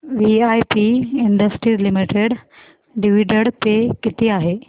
VIP industries limited dividend pay किती आहे